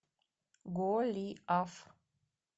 голиаф